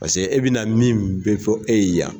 Paseke e bɛ na min bɛ fɔ e ye yan.